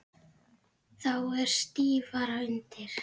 Þá er stífara undir.